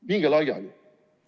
Minge laiali!